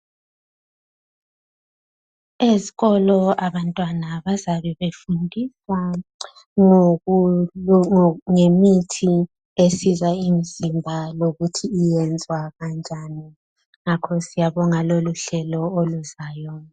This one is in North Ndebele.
Ezikolo abantwana bazabe befundiswa ngemithi esiza imizimba lokuthi iyenzwa kanjani ngakho siyabonga loluhlelo oluzayo.